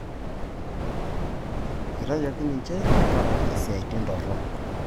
Eitayioki ninche tenkaraki isiatin torok.